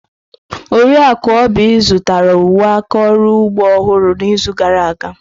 Oriakụ Oby zụtara uwe aka ọrụ ugbo ọhụrụ n'izu gara aga.